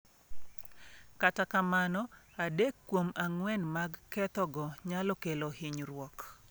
Kata kamano, adek kuom ang’wen mag kethogo nyalo kelo hinyruok.